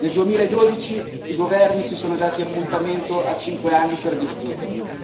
Nel 2012 i governi si sono dati appuntamento a 5 anni per discuterne.